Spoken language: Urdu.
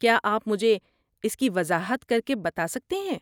کیا آپ مجھے اس کی وضاحت کر کے بتا سکتے ہیں؟